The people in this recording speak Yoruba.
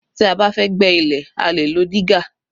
Tí a bá fẹ́ gbẹ́ ilẹ̀ a lè lo dígà